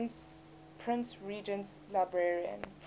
prince regent's librarian